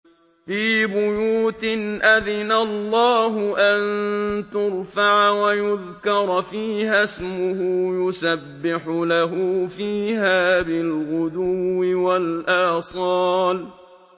فِي بُيُوتٍ أَذِنَ اللَّهُ أَن تُرْفَعَ وَيُذْكَرَ فِيهَا اسْمُهُ يُسَبِّحُ لَهُ فِيهَا بِالْغُدُوِّ وَالْآصَالِ